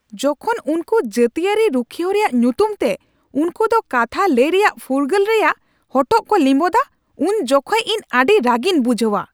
ᱡᱚᱠᱷᱚᱱ ᱩᱱᱠᱩ ᱡᱟᱹᱛᱤᱭᱟᱹᱨᱤ ᱨᱩᱠᱷᱟᱹᱭᱤ ᱨᱮᱭᱟᱜ ᱧᱩᱛᱩᱢ ᱛᱮ ᱩᱱᱠᱚᱫᱚ ᱠᱟᱛᱷᱟ ᱞᱟᱹᱭ ᱨᱮᱭᱟᱜ ᱯᱷᱩᱨᱜᱟᱹᱞ ᱨᱮᱭᱟᱜ ᱦᱚᱴᱚ ᱠᱚ ᱞᱤᱸᱵᱟᱹᱫᱟ ᱩᱱ ᱡᱚᱠᱷᱮᱱ ᱤᱧ ᱟᱹᱰᱤ ᱨᱟᱹᱜᱤᱧ ᱵᱩᱡᱷᱟᱹᱣᱟ ᱾